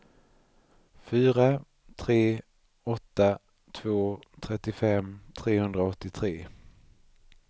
fyra tre åtta två trettiofem trehundraåttiotre